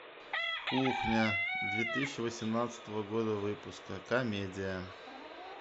кухня две тысячи восемнадцатого года выпуска комедия